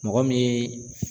Mɔgɔ min ye